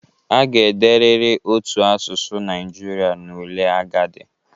A ga-ederịrị otu asụsụ Naijiria n'ule agadi